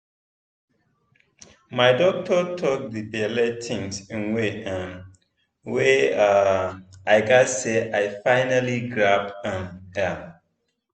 my doctor talk the belle thing in way um wey um i gatz say i finally grab um am.